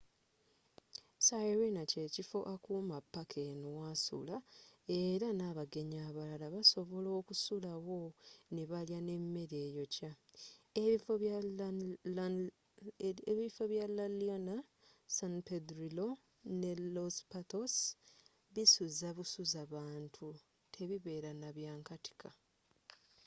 sirena kyekifo akuuma paaka eno wasula era n'abagenyi abalala basobola okusula wo nebalya nemmere eyokya ebifo bya la leona san pedrillo nne los patos bisuza busuza bantu tebibeera nabyankatika